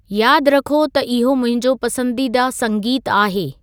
यादि रखो त इहो मुंहिंजो पसंदीदा संगीतु आहे